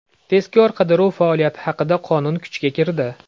Tezkor-qidiruv faoliyati haqida qonun kuchga kirdi.